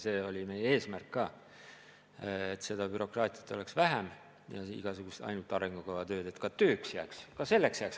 See oli meie eesmärk ka, et bürokraatiat ja igasugust ainult arengukava koostamise tööd oleks vähem.